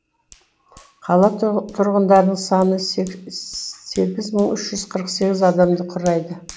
қала тұрғы тұрғындарының саны сегіз мың үш жүз қырық сегіз адамды құрайды